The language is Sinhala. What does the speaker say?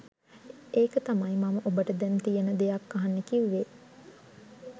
එක තමයි මං ඔබට දැන් තියෙන දෙයක් අහන්න කිව්වෙ?